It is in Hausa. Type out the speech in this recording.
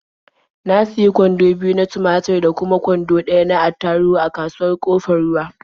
Na sayi kwando biyu na tumatur da kuma kwando ɗaya na attaruhu a kasuwar Ƙofar Ruwa.